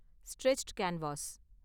stretched canvas